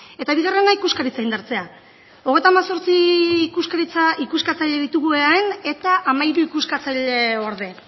eta bigarrena ikuskaritza indartzea hogeita hemezortzi ikuskatzaile ditugu eaen eta hamairu ikuskatzaile orde